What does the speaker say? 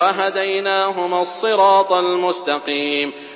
وَهَدَيْنَاهُمَا الصِّرَاطَ الْمُسْتَقِيمَ